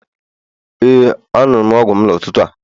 Ee, anụrụ m ọgwụ m n'ụtụtụ a.